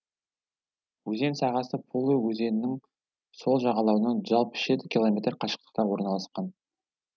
өзен сағасы полуй өзенінің сол жағалауынан жүз алпыс жеті километр қашықтықта орналасқан